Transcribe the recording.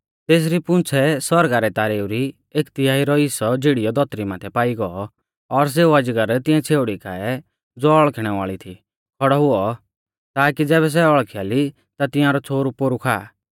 तेसरी पूंछ़ै आसमाना रै तारेऊ री एक तिहाई रौ हिस्सौ झीड़ियौ धौतरी माथै पाई गौ और सेऊ अजगर तिऐं छ़ेउड़ी काऐ ज़ो हौल़खिणै वाल़ी थी खौड़ौ हुऔ ताकि ज़ैबै सै हौल़खिया ली ता तिंआरौ छ़ोहरु पोरु खाआ